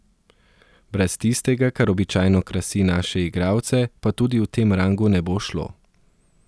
Brez tistega kar običajno krasi naše igralce pa tudi v tem rangu ne bo šlo.